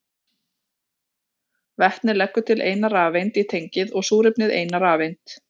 Vetnið leggur til eina rafeind í tengið og súrefnið eina rafeind.